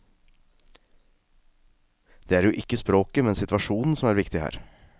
Det er jo ikke språket, men situasjonen som er viktig her.